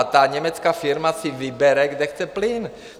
A ta německá firma si vybere, kde chce plyn.